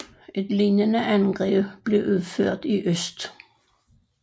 Et lignende angreb blev udført i øst